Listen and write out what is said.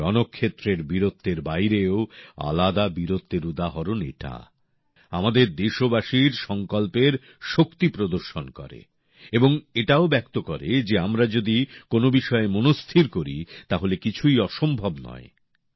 রণক্ষেত্রের বীরত্বের বাইরেও আলাদা বীরত্বের উদাহরণ এটা আমাদের দেশবাসীর সংকল্পের শক্তি প্রদর্শন করে এবং এটাও বোঝায় যে আমরা যদি কোন বিষয়ে মনস্থির করি তাহলে কিছুই অসম্ভব নয়